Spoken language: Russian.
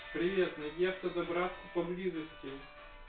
привет найди автозаправку поблизости